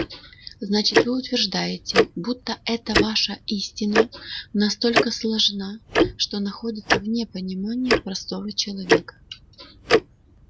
значит вы утверждаете будто эта ваша истина настолько сложна что находится вне понимания простого человека